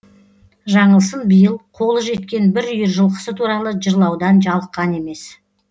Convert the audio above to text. жаңылсын биыл қолы жеткен бір үйір жылқысы туралы жырлаудан жалыққан емес